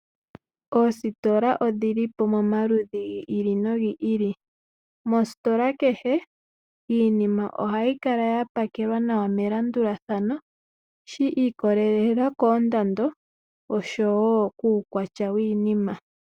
Oositola odhili po momaludhi gi ili nogi ili. Mositola kehe iinima ohayi kala yapakelwa nawa melandulathano, shi ikolelela koondando oshowo kuukwatya wiinima.